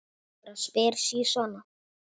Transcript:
Ég bara spyr sí svona.